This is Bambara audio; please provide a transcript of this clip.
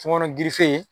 Tɔmɔnɔ